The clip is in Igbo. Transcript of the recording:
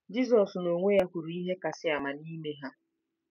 Jizọs n'onwe ya kwuru ihe kasị ama n'ime ha.